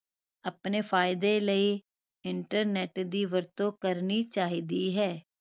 ਆਪਣੇ ਫਾਇਦੇ ਲਈ internet ਦੀ ਵਰਤੋਂ ਕਰਨੀ ਚਾਹੀਦੀ ਹੈ